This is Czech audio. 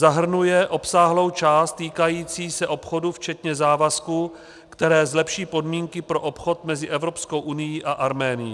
Zahrnuje obsáhlou část týkající se obchodu, včetně závazků, které zlepší podmínky pro obchod mezi Evropskou unií a Arménií.